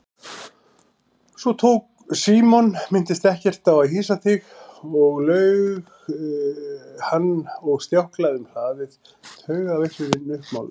Símon minntist ekkert á að hýsa þig laug hann og stjáklaði um hlaðið, taugaveiklunin uppmáluð.